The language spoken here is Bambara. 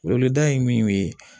Welewda ye min ye